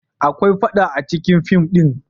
Akwai faɗa acikin fim din.